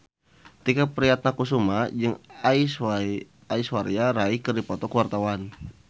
Tike Priatnakusuma jeung Aishwarya Rai keur dipoto ku wartawan